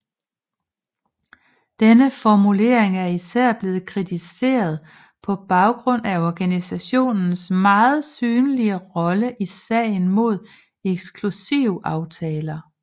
Denne formulering er især blevet kritiseret på baggrund af organisationens meget synlige rolle i sagen mod eksklusivaftaler